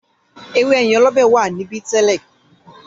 “ewé ẹ̀yìn olobe” wà níbí to.